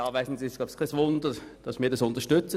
Es verwundert wohl kaum, dass wir das unterstützen.